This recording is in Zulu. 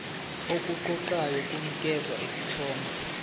okuqoqayo kunikeza isithombe